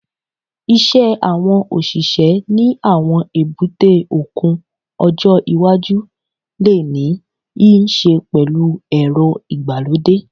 Iṣẹ́ àwọn òṣìṣẹ́ ní àwọn èbúté òkun ọjọ́ iwájú lè ní í ṣe pẹ̀lú ẹ̀rọ ìgbàlódé